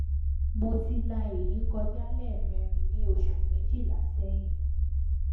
mo ti la eyi koja lemerin ni osu mejila sehin